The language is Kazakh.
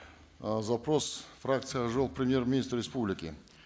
э запрос фракции ак жол к премьер министру республики